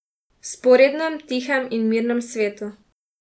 V vzporednem, tihem in mirnem svetu.